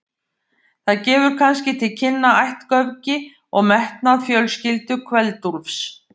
Það gefur kannski til kynna ættgöfgi og metnað fjölskyldu Kveld-Úlfs.